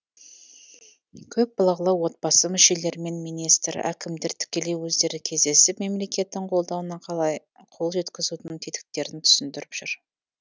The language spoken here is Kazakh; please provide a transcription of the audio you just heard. көпбалалы отбасы мүшелерімен министр әкімдер тікелей өздері кездесіп мемлекеттің қолдауына қалай қол жеткізудің тетіктерін түсіндіріп жүр